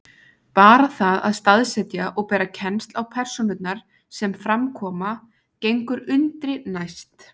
Bara það að staðsetja og bera kennsl á persónurnar sem fram koma gengur undri næst.